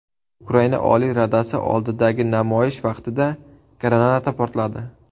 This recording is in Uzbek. Ukraina Oliy Radasi oldidagi namoyish vaqtida granata portladi.